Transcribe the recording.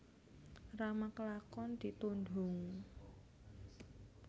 Rama kelakon ditundhung